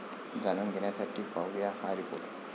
जाणून घेण्यासाठी पाहूया हा रिपोर्ट